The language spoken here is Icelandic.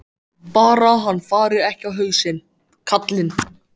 Bara hann fari ekki á hausinn, karlinn.